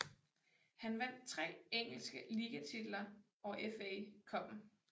Han vandt tre engelske ligatitler og FA Cupen